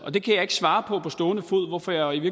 og det kan jeg ikke svare på på stående fod hvorfor jeg i